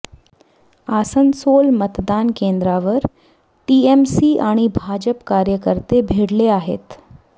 आसनसोल मतदान केंद्रावर टीएमसी आणि भाजप कार्यकर्ते भिडले आहेत